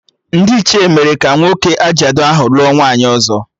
Ndị Ichie mere ka nwoke ajadu ahụ lụọ nwaanyị ọzọ